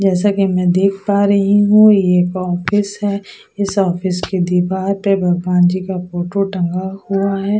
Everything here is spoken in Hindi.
जैसा की में देख पा रही हूँ ये एक ऑफिस है इस ऑफिस के दिवार पे भगवानजी का फोटो टंगा हुआ है।